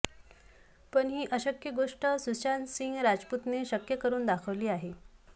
पण ही अशक्य गोष्ट सुशांत सिंह राजपूतने शक्य करुन दाखवली आहे